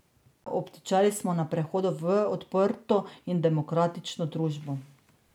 Obtičali smo na prehodu v odprto in demokratično družbo.